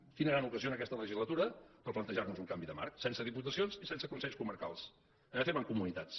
quina gran ocasió aquesta legislatura per plantejar nos un canvi de marc sense diputacions i sense consells comarcals anem a fer mancomunitats